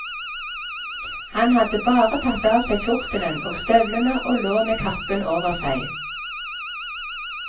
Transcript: Han hadde bare tatt av seg kjortelen og støvlene og lå med kappen over seg.